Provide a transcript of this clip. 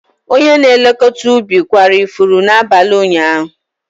Onye na-elekọta ubi kwara ifuru n'abalị ụnyaahụ.